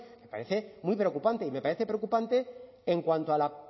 me parece muy preocupante y me parece preocupante en cuanto a la